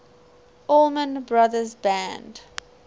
allman brothers band